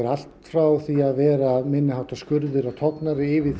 allt frá því að vera minni háttar skurðir og tognanir yfir